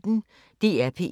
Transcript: DR P1